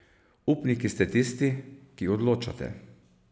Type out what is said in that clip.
Upniki ste tisti, ki odločate.